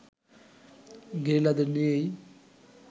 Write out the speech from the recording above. গেরিলাদের নিয়েই